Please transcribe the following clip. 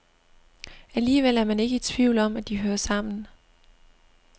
Alligevel er man ikke i tvivl om, at de hører sammen.